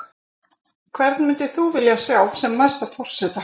Hvern myndir þú vilja sjá sem næsta forseta?